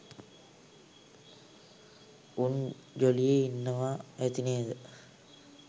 උන් ජොලියේ ඉන්නවා ඇති නේද.